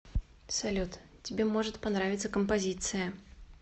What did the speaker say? салют тебе может понравиться композиция